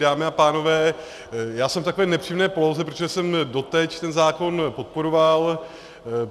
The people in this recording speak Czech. Dámy a pánové, já jsem v takové nepříjemné poloze, protože jsem doteď ten zákon podporoval.